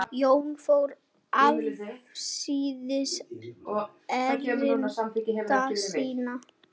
Jón fór afsíðis erinda sinna.